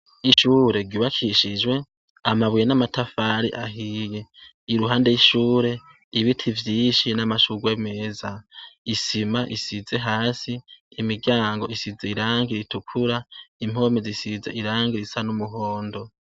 Ishure ryubakishijwe amabuye n'amatafari ahiye, iruhande y'ishure ibiti vyishi n'amashugwe meza, isima isize hasi imiryango isize irangi ritukura, impome zisize irangi risa n'umuhondo.